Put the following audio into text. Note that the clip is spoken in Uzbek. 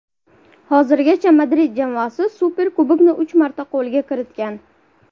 Hozirgacha Madrid jamoasi Superkubokni uch marta qo‘lga kiritgan.